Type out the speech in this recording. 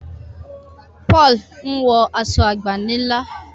Paul nwo Aṣọ àgbànilà.